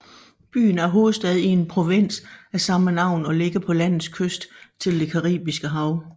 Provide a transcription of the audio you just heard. Byen er hovedstad i en provins af samme navn og ligger på landets kyst til det Caribiske hav